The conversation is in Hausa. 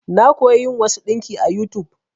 Na koya yin wasu ɗinki a YouTube.